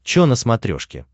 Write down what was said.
че на смотрешке